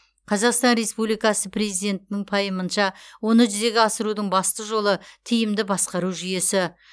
қазақстан республикасы президентінің пайымынша оны жүзеге асырудың басты жолы тиімді басқару жүйесі